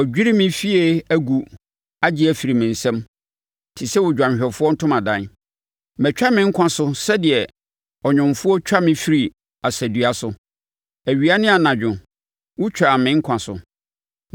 Wɔadwiri me fie agu agye afiri me nsam, te sɛ odwanhwɛfoɔ ntomadan. Matwa me nkwa so sɛdeɛ ɔnwomfoɔ, twa me firi asadua so; awia ne anadwo wotwaa me nkwa so.